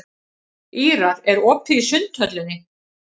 Ýrar, er opið í Sundhöllinni?